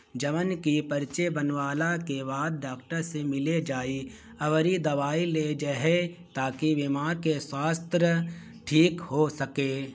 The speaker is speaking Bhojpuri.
जवन की पर्चे बनवाला के बाद डॉक्टर से मिले जाए अगर इ दवाई लेए जे हेय ताकि बीमार के स्वास्थ ठीक हो सके।